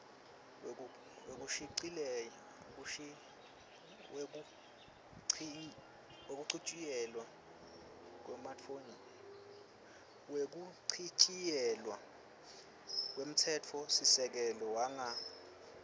wekuchitjiyelwa kwemtsetfosisekelo wanga